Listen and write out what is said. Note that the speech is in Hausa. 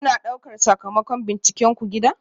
Kuna ɗaukar sakamakon bincikenku gida?